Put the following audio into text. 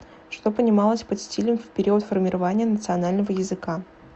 что понималось под стилем в период формирования национального языка